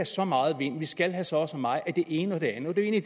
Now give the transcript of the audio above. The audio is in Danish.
så meget vind vi skal have så og så meget af det ene og det andet hvilket